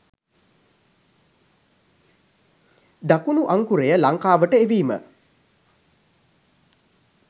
දකුණු අංකුරය ලංකාවට එවීම